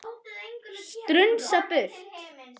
Strunsa burtu.